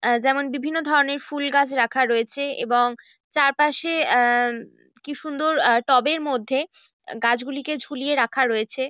এ-- যেমন বিভিন্ন ধরণের ফুল গাছ রাখা রয়েছে এবং চারপাশে এ-- কি সুন্দর আ টবের মধ্যে গাছ গুলিকে ঝুলিয়ে রাখা রয়েছে।